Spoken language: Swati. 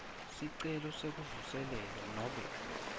sicelo sekuvuselelwa nobe